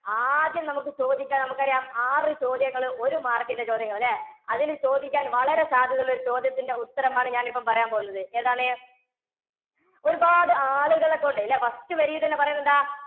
ആദ്യം നമുക്ക് ചോദിക്കാ~നമുക്കറിയാം ആറു ചോദ്യങ്ങളും ഒരു mark ന്റെ ചോദ്യങ്ങള് ല്ലേ? അതില് ചോദിക്കാന്‍ വളരെ സാധ്യതയുള്ളൊരു ചോദ്യത്തിന്റെ ഉത്തരമാണ് ഞാനിപ്പോ പറയാന്‍ പോകുന്നത്. ഏതാണ്? ഒരുപാട് ആളുകളെക്കൊണ്ട് ല്ലേ, first വരിയിൽത്തന്നെ പറയുന്നെന്താ?